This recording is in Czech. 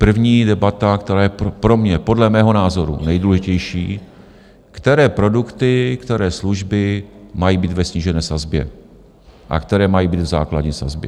První debata, která je pro mě podle mého názoru nejdůležitější, které produkty, které služby mají být ve snížené sazbě a které mají být v základní sazbě.